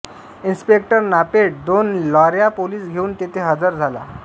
inspector नापेट दोन लाॅऱ्या पोलीस घेऊन तेथे हजर झाला